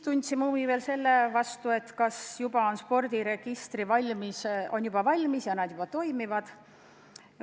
Me küsisime ka, kas spordiregistrid on juba valmis ja toimivad.